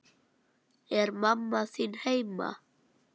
Er mamma þín heima?